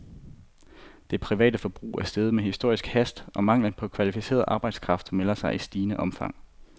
Det private forbrug er steget med historisk hast, og manglen på kvalificeret arbejdskraft melder sig i stigende omfang.